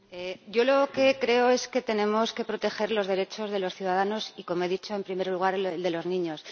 Señora Valenciano, yo lo que creo es que tenemos que proteger los derechos de los ciudadanos y, como he dicho, en primer lugar, los de los niños.